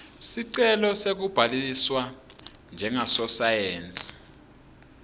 sicelo sekubhaliswa njengasosayensi